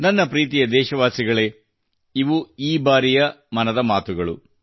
ನನ್ನ ಪ್ರೀತಿಯ ದೇಶವಾಸಿಗಳೇ ಇವು ಈ ಬಾರಿಯಮನದ ಮಾತು ಗಳು